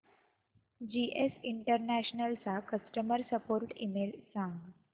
GS international चा customer support email सांग